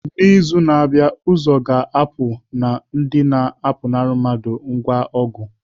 N'izu na-abịa, ụzọ a ga-apụ na ndị na-apụnara mmadụ ngwa ọgụ.